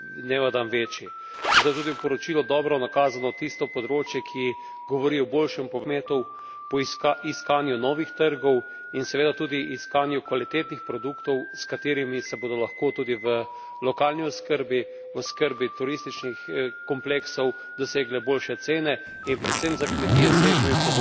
Zato je tudi v poročilu dobro nakazano tisto področje, ki govori o boljšem povezovanju kmetov, iskanju novih trgov in seveda tudi iskanju kvalitetnih produktov, s katerimi se bodo lahko tudi v lokalni oskrbi, oskrbi turističnih kompleksov, dosegle boljše cene, in predvsem za kmetije s težjimi pogoji tudi primeren dohodek.